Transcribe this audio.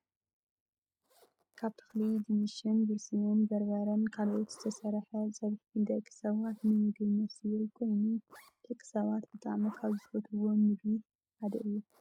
ካብ ተክሊ ድንሽን ብርስን፣ በርበረን ካልእን ዝተሰረሓ ፀብሒ ንደቂ ሰባት ንምግብነት ዝውዕል ኮይኑ፣ ደቂ ሰባት ብጣዕሚ ካብ ዝፈትውዎም ምግቢ ሓደ እዩ።